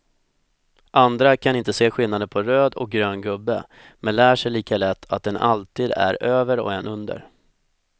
Andra kan inte se skillnaden på röd och grön gubbe, men lär sig lika lätt att en alltid är över och en under.